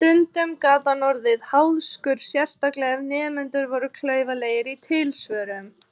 Stundum gat hann orðið háðskur, sérstaklega ef nemendur voru klaufalegir í tilsvörum.